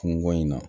Kungo in na